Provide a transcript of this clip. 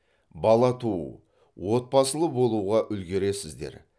бала туу отбасылы болуға үлгересіздер